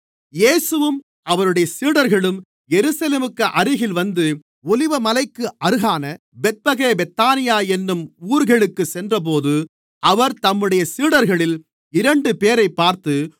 இயேசுவும் அவருடைய சீடர்களும் எருசலேமுக்கு அருகில் வந்து ஒலிவமலைக்கு அருகான பெத்பகே பெத்தானியா என்னும் ஊர்களுக்குச் சென்றபோது அவர் தம்முடைய சீடர்களில் இரண்டுபேரைப் பார்த்து